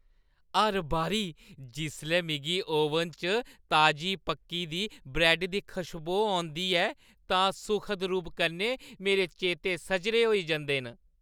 हर बारी जिसलै मिगी ओवन च ताजी पक्की दी ब्रैड्डा दी खशबो औंदी ऐ तां सुखद रूप कन्नै मेरे चेते सजरे होई जंदे न।